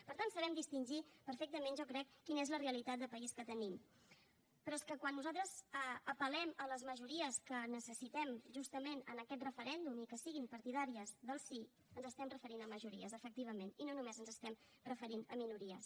per tant sabem distingir perfectament jo crec quina és la realitat de país que tenim però és que quan nosaltres apel·lem a les majories que necessitem justament en aquest referèndum i que siguin partidàries del sí ens estem referint a majories efectivament i no només ens estem referint a minories